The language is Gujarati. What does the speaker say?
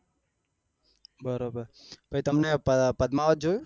બરોબર પછી તમે પદમાવત જોયું